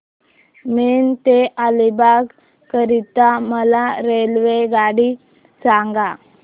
पेण ते अलिबाग करीता मला रेल्वेगाडी सांगा